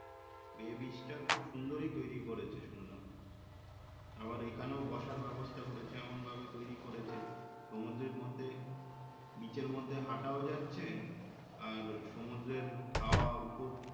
bay beach টা খুব সুন্দরই করেছে সুনলাম আবার এইখানেও বসার ব্যবস্থা করেছে এমন ভাবে তৈরি করেছে সমুদ্রের মধ্যে beach র মধ্যে হাঁটাও যাচ্ছে আর সমুদ্রের হাওয়া,